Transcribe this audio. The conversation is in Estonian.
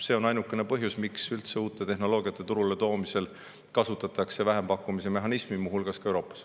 See on ainukene põhjus, miks uute tehnoloogiate turule toomisel üldse kasutatakse vähempakkumise mehhanismi, muu hulgas ka Euroopas.